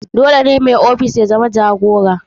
Dole ne mai ofishin ya zama jagora.